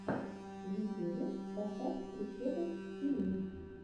в ютюбе поставь прищепов тиви